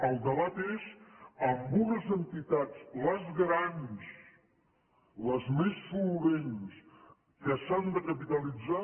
el debat és amb unes entitats les grans les més solvents que s’han de capitalitzar